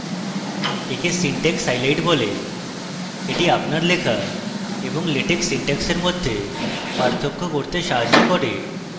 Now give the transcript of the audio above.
একে syntax highlight বলা হয় এটি আপনার লেখা এবং latex syntax এর মধ্যে পার্থক্য করতে সাহায্য করে